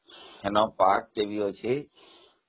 ସେଠି ଏକ ପାହାଡଟେ ମଧ୍ୟ ଅଛି